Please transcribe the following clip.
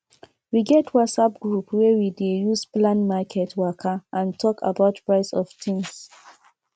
we get whatsapp group wey we dey use plan market waka and talk about price of things